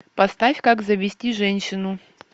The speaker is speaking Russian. поставь как завести женщину